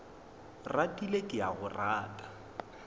ratile ke a go rata